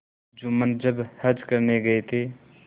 जुम्मन जब हज करने गये थे